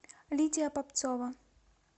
лидия попцова